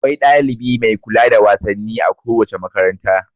Akwai dalibi mai kula da wasanni a kowace makaranta.